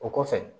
O kɔfɛ